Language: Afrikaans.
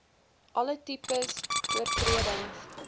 alle tipes oortredings